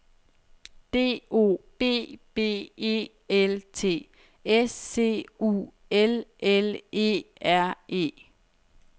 D O B B E L T S C U L L E R E